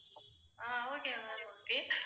ah okay ma'am okay